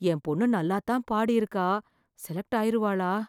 என் பொண்ணு நல்லாத்தான் பாடி இருக்கா, செலக்ட் ஆயிருவாளா?